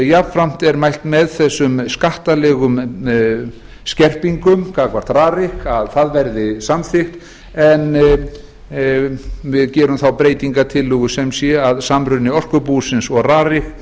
jafnframt er mælt með þessum skattalegu skerpingar gagnvart rarik að það verði samþykkt en við gerum þá breytingartillögu sem sé að samruni orkubúsins og rarik